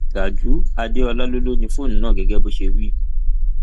gajúú adeola ló ló ni fóònù náà gẹgẹ bó ṣe wí